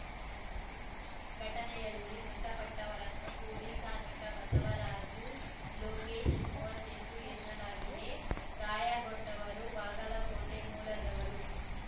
ಘಟನೆಯಲ್ಲಿ ಮೃತಪಟ್ಟವರನ್ನು ಕೂಲಿ ಕಾರ್ಮಿಕ ಬಸವರಾಜು ಲೋಕೇಶ್‌ ಮೂವತ್ತ್ ಎಂಟು ಎನ್ನಲಾಗಿದೆ ಗಾಯಗೊಂಡವರು ಬಾಗಲಕೋಟೆ ಮೂಲದವರು